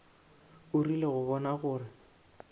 o rile go bona gore